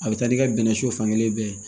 A bɛ taa n'i ka bɛnɛso fankelen bɛɛ ye